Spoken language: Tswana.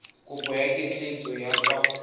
kopo ya ketleetso ya kwa